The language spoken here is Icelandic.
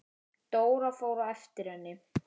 Dóra fór á eftir henni.